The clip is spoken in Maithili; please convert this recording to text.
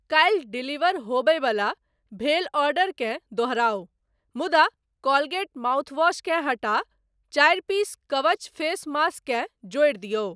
काल्हि डिलीवर होबयवला भेल ऑर्डरकेँ दोहराउ मुदा कोलगेट माउथवॉश केँ हटा चारि पीस कवच फेस मास्क केँ जोड़ि दियौ।